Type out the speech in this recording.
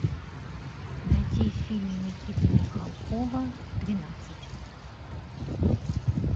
найти фильм никиты михалкова двенадцать